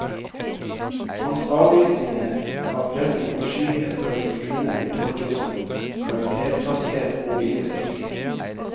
Hans avvisninger av pressen og skyhet overfor kvinner blir tolket som karakterfasthet og viljestyrke.